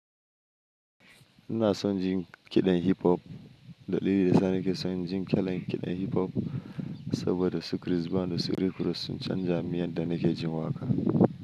Ina son jin kiɗan hip hop. Dalili da sa nake son jin kalan kiɗan hip hop, saboda su Chris Brown, da su Rick-ross sun canza miyan da nake jin waƙa.